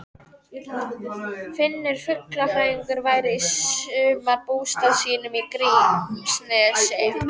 Finnur fuglafræðingur væri í sumarbústað sínum í Grímsnesi.